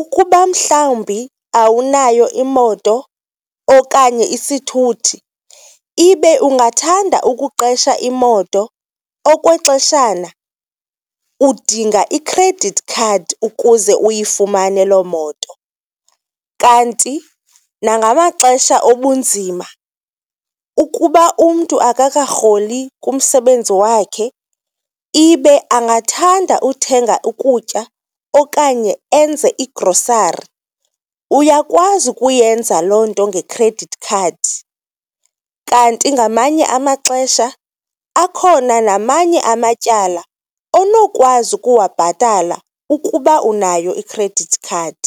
ukuba mhlawumbi awunayo imoto okanye isithuthi ibe ungathanda ukuqesha imoto okwexeshana, udinga i-credit card ukuze uyifumane loo moto. Kanti nangamaxesha obunzima ukuba umntu akakarholi kumsebenzi wakhe ibe angathanda uthenga ukutya okanye enze igrosari, uyakwazi ukuyenza loo nto nge-credit card. Kanti ngamanye amaxesha akhona namanye amatyala onokwazi ukuwabhatala ukuba unayo i-credit card.